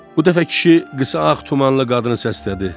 Bu dəfə kişi qısa ağ tumanlı qadını səslədi.